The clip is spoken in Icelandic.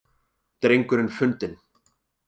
Drengurinn fundinn